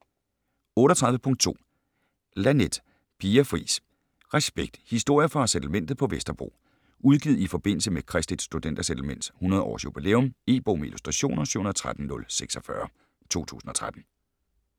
38.2 Laneth, Pia Fris: Respekt: historier fra Settlementet på Vesterbro Udgivet i forbindelse med Kristeligt Studenter Settlements 100 års jubilæum. E-bog med illustrationer 713046 2013.